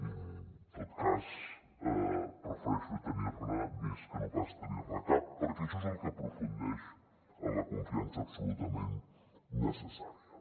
en tot cas prefereixo tenir ne més que no pas tenir ne cap perquè això és el que aprofundeix en la confiança absolutament necessària